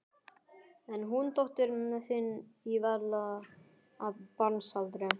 En hún dóttir þín er varla af barnsaldri.